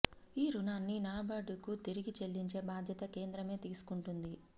ఈ రుణాన్ని నాబార్డు కు తిరిగి చెల్లించే భాద్యత కేంద్రమే తీసుకుంటుంది